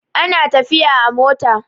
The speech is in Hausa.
ana tafiya a mota